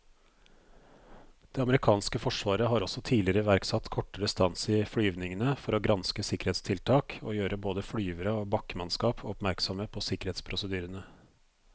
Det amerikanske forsvaret har også tidligere iverksatt kortere stans i flyvningene for å granske sikkerhetstiltak og gjøre både flyvere og bakkemannskap oppmerksomme på sikkerhetsprosedyrene.